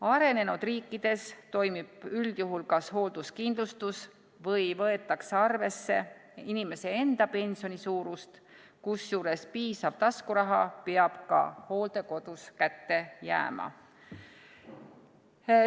Arenenud riikides toimib üldjuhul kas hoolduskindlustus või võetakse arvesse inimese enda pensioni suurust, kusjuures piisav taskuraha peab ka hooldekodus kätte jääma.